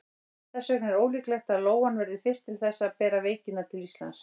Þess vegna er ólíklegt að lóan verði fyrst til þess að bera veikina til Íslands.